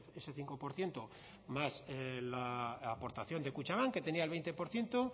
ese cinco por ciento más la aportación de kutxabank que tenía el veinte por ciento